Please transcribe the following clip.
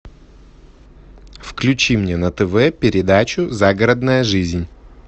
включи мне на тв передачу загородная жизнь